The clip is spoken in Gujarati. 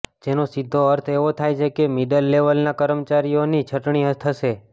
જેનો સીધો અર્થ એવો થાય છે કે મિડલ લેવલના કર્મચારીઓની છટણી થશે